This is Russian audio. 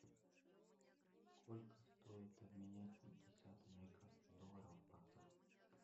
сколько стоит обменять пятьдесят американских долларов в баксах